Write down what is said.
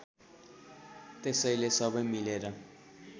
त्यसैले सबै मिलेर